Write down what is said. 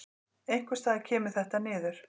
Einhvers staðar kemur þetta niður.